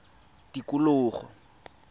tikologo